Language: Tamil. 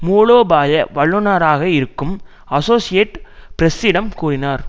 மூலோபாய வல்லுனராக இருக்கும் அசோசியேட்டட் பிரஸ்ஸிடம் கூறினார்